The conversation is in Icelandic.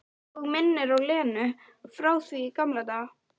Og minnir á Lenu frá því í gamla daga.